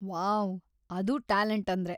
Wow, ಅದು talent ಅಂದ್ರೆ.